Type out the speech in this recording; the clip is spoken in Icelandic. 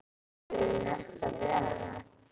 Hefurðu nefnt það við hana?